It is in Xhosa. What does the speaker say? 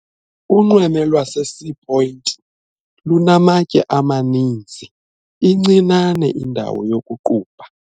Unxweme lwaseSea Point lunamatye amaninzi incinane indawo yokuqubha.